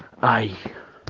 ай